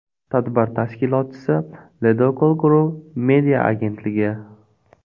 Tadbir tashkilotchisi Ledokol Group media agentligi.